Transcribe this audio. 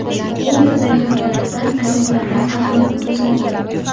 U yerdagi holatdan ajablanib, atrofni kuzatdim.